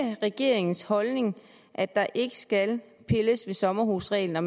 regeringens holdning at der ikke skal pilles ved sommerhusreglen og